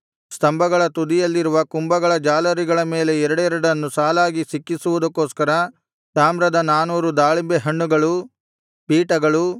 ಸ್ತಂಭಗಳ ತುದಿಯಲ್ಲಿರುವ ಕುಂಭಗಳ ಜಾಲರಿಗಳ ಮೇಲೆ ಎರಡೆರಡನ್ನು ಸಾಲಾಗಿ ಸಿಕ್ಕಿಸುವುದಕ್ಕೋಸ್ಕರ ತಾಮ್ರದ ನಾನೂರು ದಾಳಿಂಬೆ ಹಣ್ಣುಗಳು ಪೀಠಗಳು